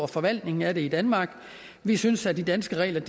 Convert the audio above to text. forvaltningen af det i danmark vi synes at de danske regler